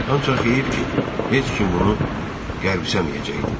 Ancaq heyif ki, heç kim bunu qavramayacaqdı.